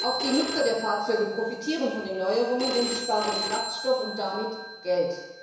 Auch die Nutzer der Fahrzeuge profitieren von den Neuerungen, denn sie sparen Kraftstoff und damit Geld.